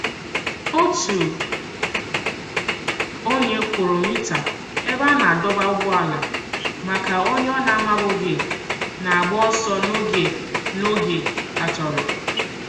Otu onye kwụrụ mita ebe a na-adọba ụgbọala maka onye ọ na-amabughị na-agba ọsọ n'oge n'oge atọrọ.